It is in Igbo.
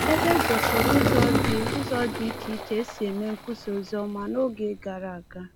Ebe e gosiri ụzọ dị ụzọ dị iche iche e si mee nkwusa oziọma n’oge gara aga.